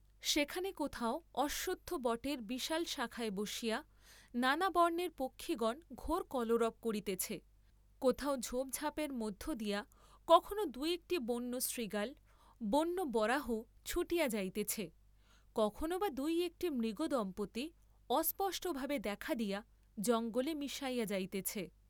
সেখানে কোথাও অশ্বত্থ বটের বিশাল শাখায় বসিয়া নানা বর্ণের পক্ষিগণ ঘোর কলরব করিতেছে, কোথাও ঝোপ ঝাপের মধ্য দিয়া কখনো দু একটি বন্য শৃগাল, বন্য বরাহ ছুটিয়া যাইতেছে, কখনো বা দুই একটী মৃগদম্পতি অস্পষ্টভাবে দেখা দিয়া জঙ্গলে মিশাইয়া যাইতেছে।